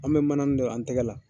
An mɛ manani don, an tigɛ la.